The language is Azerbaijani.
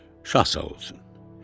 Şah sağ olsun.